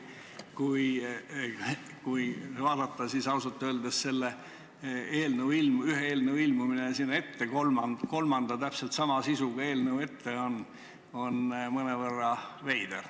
Kui vaadata, siis ausalt öeldes on ühe eelnõu ilmumine sinna ette, kolmandana täpselt sama sisuga eelnõu ette, mõnevõrra veider.